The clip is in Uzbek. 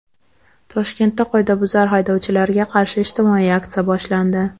Toshkentda qoidabuzar haydovchilarga qarshi ijtimoiy aksiya boshlandi.